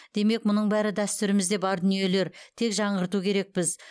демек мұның бәрі дәстүрімізде бар дүниелер тек жаңғырту керекпіз